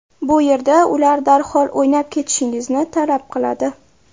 Bu yerda ular darhol o‘ynab ketishingizni talab qiladi.